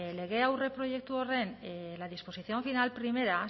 lege aurreproiektu horren la disposición final primera